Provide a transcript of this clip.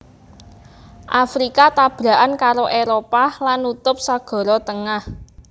Afrika tabrakan karo Éropah lan nutup Sagara Tengah